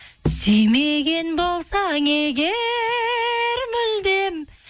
сүймеген болсаң егер мүлдем